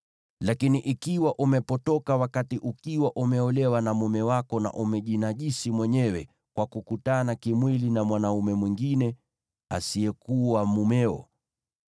Lakini ikiwa umepotoka wakati ukiwa umeolewa na mume wako na umejinajisi mwenyewe kwa kukutana kimwili na mwanaume mwingine asiyekuwa mumeo”;